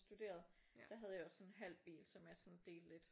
Studerede der havde jeg også sådan en halv bil som jeg sådan delte lidt